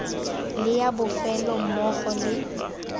le ya bofelo mmogo le